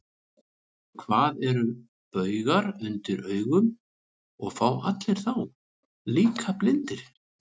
Hvað eru baugar undir augum, og fá allir þá, líka blindir?